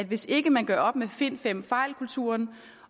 hvis ikke man gør op med find fem fejl kulturen